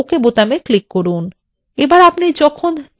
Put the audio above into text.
এখন ok button click করুন